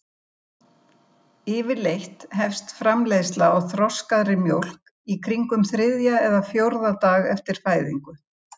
Yfirleitt hefst framleiðsla á þroskaðri mjólk í kringum þriðja eða fjórða dag eftir fæðingu.